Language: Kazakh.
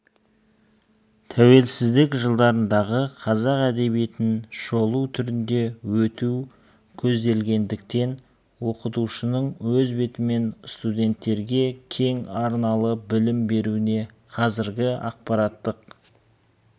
тәуелсіздік жылдарындағы қазақ әдебиетін шолу түрінде өту көзделгендіктен оқытушының өз бетімен студенттерге кең арналы білім беруіне қазіргі ақпараттық